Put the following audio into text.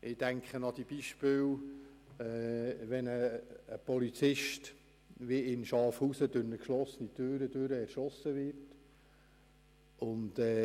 Ich denke an ein Beispiel, als ein Polizist in Schafhausen durch eine geschlossene Tür hindurch erschossen wurde.